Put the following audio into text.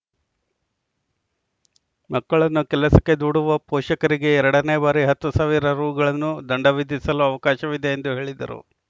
ಮಕ್ಕಳನ್ನು ಕೆಲಸಕ್ಕೆ ದೂಡುವ ಪೋಷಕರಿಗೆ ಎರಡನೇ ಬಾರಿ ಹತ್ತು ಸಾವಿರ ರು ಗಳನ್ನು ದಂಡ ವಿಧಿಸಲು ಅವಕಾಶವಿದೆ ಎಂದು ಹೇಳಿದರು